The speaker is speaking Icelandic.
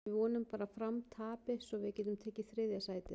Við vonum bara að Fram tapi svo við getum tekið þriðja sætið.